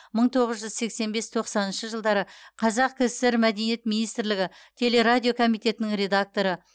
мың тоғыз жүз сексен бес тоқсаныншы жылдары қазақ кср мәдениет министрлігі телерадио комитетінің редакторы